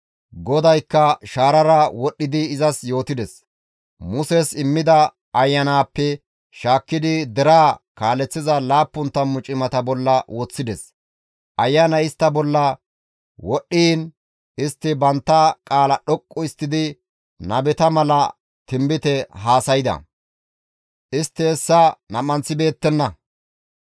GODAYKKA shaarara wodhdhidi izas yootides; Muses immida ayanaappe shaakkidi deraa kaaleththiza laappun tammu cimata bolla woththides; ayanay istta bolla wodhdhiin istti bantta qaala dhoqqu histtidi nabeta mala tinbite haasayda; istti hessa nam7anththibeettenna.